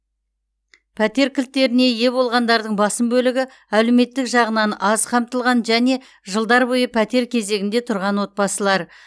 пәтер кілттеріне ие болғандардың басым бөлігі әлеуметтік жағынан аз қамтылған және жылдар бойы пәтер кезегінде тұрған отбасылар